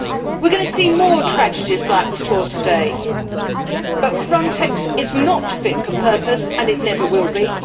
We are going to see more tragedies like we saw today. FRONTEX is not fit for purpose and it never will be.